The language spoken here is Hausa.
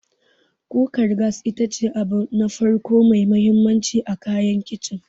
Kukar gas ita ce abu na farko mai mahimmanci a kayan Kicin.